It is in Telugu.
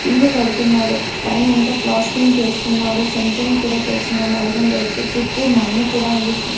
ఇల్లు కడుతున్నారు ప్ పైనంత ప్లార్స్టింగ్ చేస్తున్నారు సెంట్రింగ్ కూడా చేస్తున్నారు ఐరన్ రోడ్సు చుట్టూ మన్ను కూడా ఉంది.